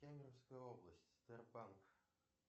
кемеровская область сбербанк